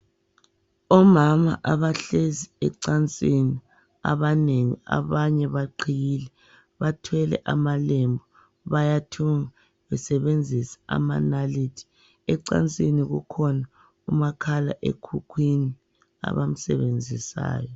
Omama abahlezi ecansini abanengi abanye baqhiyile. Bathwele amalembe bayathunga besebenzisa amanalithi. Ecansini kukhona umakhala ekhukhwini abamsebenzisayo.